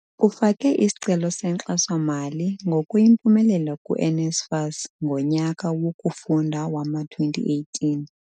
Ufake isicelo senkxaso-mali ngokuyimpumelelo ku-NSFAS sonyaka wokufunda wowama-2018.